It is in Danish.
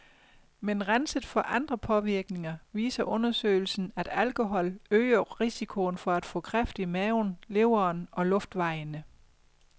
Men renset for andre påvirkninger viser undersøgelsen, at alkohol øger risikoen for at få kræft i maven, leveren og luftvejene.